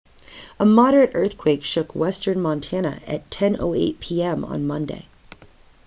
a moderate earthquake shook western montana at 10:08 p.m. on monday